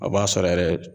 A b'a sɔrɔ yɛrɛ